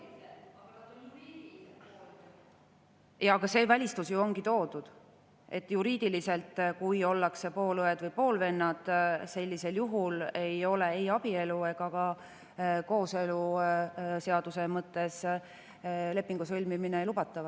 Jaa, aga see välistus ju ongi toodud, et kui juriidiliselt ollakse poolõed ja poolvennad, sellisel juhul ei ole ei abielu ega ka kooseluseaduse mõttes lepingu sõlmimine lubatav.